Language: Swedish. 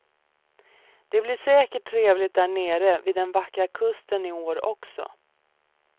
Det blir säkert trevligt där nere vid den vackra kusten i år också.